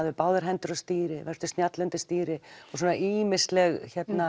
með báðar hendur á stýri vertu snjall undir stýri og svona ýmisleg